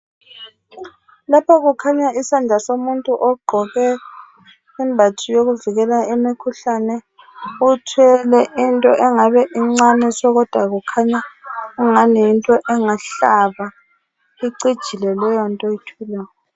Lapha kukhanya isandla somuntu ogqoke imbatho yokuvikela imikhuhlane uthwele into engabe incane kodwa kukhanya engani yinto engahlaba icijile leyonto oyithweleyo.